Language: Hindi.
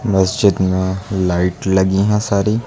मस्जिद में लाइट लगी है सारी।